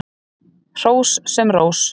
Hrós sem rós.